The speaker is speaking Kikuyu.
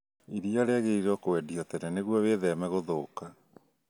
Iria rĩagĩriirwo kwendio tene nĩguo wĩtheme gũthũka